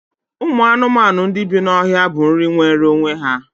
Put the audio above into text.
Ụmụ anụmanụ ndị bí n'ọhịa bụ nri nwere onwe ya